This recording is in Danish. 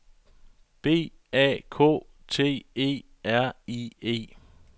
B A K T E R I E